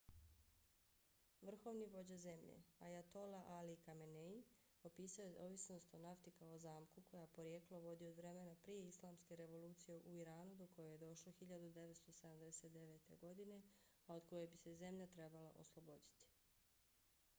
vrhovni vođa zemlje ayatollah ali khamenei opisao je ovisnost o nafti kao zamku koja porijeklo vodi od vremena prije islamske revolucije u iranu do koje je došlo 1979. godine a od koje bi se zemlja trebala osloboditi